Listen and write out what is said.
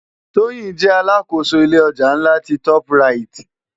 Toyin jè àlákósó ilé òjá nlá ti tòp ráyit